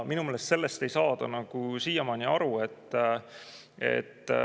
Minu meelest sellest ei saada siiamaani aru.